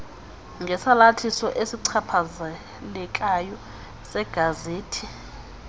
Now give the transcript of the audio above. ngesalathiso esichaphazelekayo segazethi